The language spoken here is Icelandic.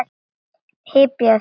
Hypjaðu þig.